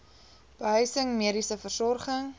behuising mediese versorging